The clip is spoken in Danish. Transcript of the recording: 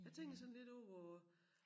Jeg tænker sådan lidt over hvor